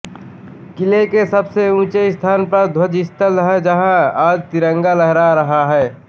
किले के सबसे ऊँचे स्थान पर ध्वज स्थल है जहाँ आज तिरंगा लहरा रहा है